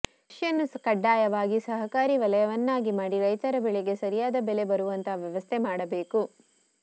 ಕೃಷಿಯನ್ನು ಕಡ್ಡಾಯವಾಗಿ ಸಹಕಾರಿ ವಲಯವನ್ನಾಗಿ ಮಾಡಿ ರೈತರ ಬೆಳೆಗೆ ಸರಿಯಾದ ಬೆಲೆ ಬರುವಂತಹ ವ್ಯವಸ್ಥೆ ಮಾಡಬೇಕು